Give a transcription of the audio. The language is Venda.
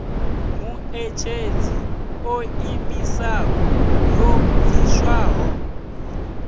muṋetshedzi o ḓiimisaho yo bviswaho